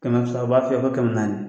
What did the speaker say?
Kɛmɛ fila u b'a f'i ye ko kɛmɛ naani